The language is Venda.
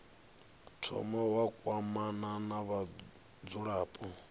thoma wa kwamana na vhadzulapo